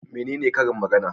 Menene karin magana?